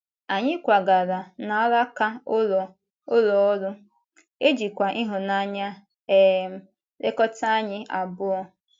Anyị kwàgàrà n’álàka ụlọ ụlọ ọrụ, e jìkwa ịhụnanya um lekọta anyị abụọ.